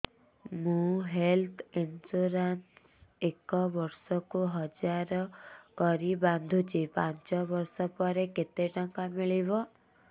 ମୁ health insurance ଏକ ବର୍ଷକୁ ହଜାର କରି ବାନ୍ଧୁଛି ପାଞ୍ଚ ବର୍ଷ ପରେ କେତେ ଟଙ୍କା ମିଳିବ